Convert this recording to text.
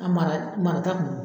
A mara, mara ta kun do.